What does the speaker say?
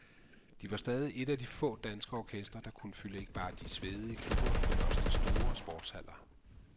De var stadig et af de få danske orkestre, der kunne fylde ikke bare de svedige klubber, men også de store sportshaller.